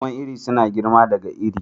Noman iri suna girma daga iri.